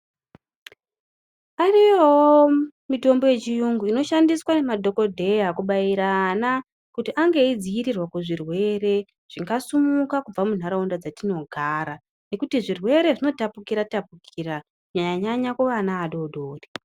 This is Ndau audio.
Ariyowo mitombo yechiyungu inoshandiswa ngemadhokodheya kubaira ana kuti ange eidzirirwa muzvirwere zvingasimuka kubva mundaraunda dzatinogara ngekuti zvirwere zvnotapukira tapukira kunyanya nyanya kuvana vadodori.